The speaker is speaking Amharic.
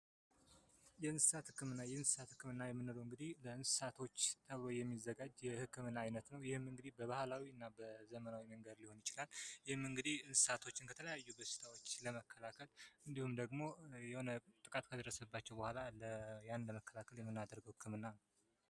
የእንስሳት ህክምና የእንስሳት ህክምና የምንለው እንግዲህ ለእንስሳቶች ተብሎ የሚዘጋጅ ክምና ነው። ይህም እንግዲህ በባህላዊና በዘመናዊ መንገድ ሊሆን ይችላል ይህም እንግዲህ እንስሳቶችን በሽታዎች ለመከላከል ወይም ደግሞ የሆነ ጥቃት ከደረሰባቸው በኋላ ያንን ለመከላከል ብለን የምናደርገው ህክምና ነው።